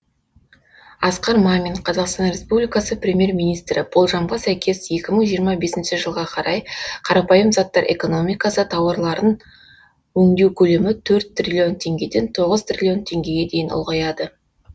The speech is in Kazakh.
асқар мамин қазақстан республикасының премьер министрі болжамға сәйкес екі мың жиырма бесінші жылға қарай қарапайым заттар экономикасы тауарларын өңдеу көлемі төрт триллион теңгеден тоғыз триллион теңгеге дейін ұлғаяды